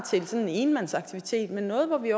en enmandsaktivitet men noget hvor vi